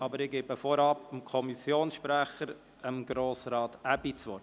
Ich gebe vorab dem Kommissionssprecher, Grossrat Aebi, das Wort.